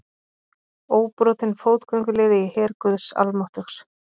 Óbrotinn fótgönguliði í her guðs almáttugs.